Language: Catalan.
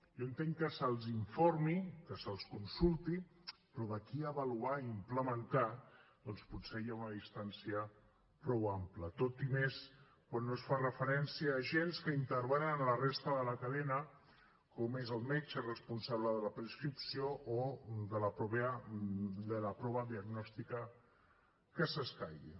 jo entenc que se’ls informi que se’ls consulti però d’aquí a avaluar i implementar potser hi ha una distància prou ampla i més quan no es fa referència a agents que intervenen en la resta de la cadena com és el metge responsable de la prescripció o de la prova diagnòstica que escaigui